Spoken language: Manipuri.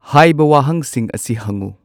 ꯍꯥꯏꯕ ꯋꯥꯍꯪꯁꯤꯡ ꯑꯁꯤ ꯍꯪꯉꯨ꯫